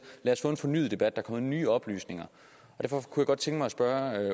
lad os få en fornyet debat for nye oplysninger derfor kunne jeg godt tænke mig spørge